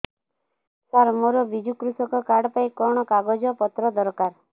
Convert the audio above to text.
ସାର ମୋର ବିଜୁ କୃଷକ କାର୍ଡ ପାଇଁ କଣ କାଗଜ ପତ୍ର ଦରକାର